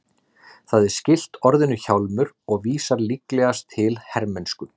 Það er skylt orðinu hjálmur og vísar líklegast til hermennsku.